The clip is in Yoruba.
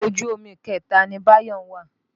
Ọkọ̀ ojú omi ìkẹta ni Báyọ̀ ń wà.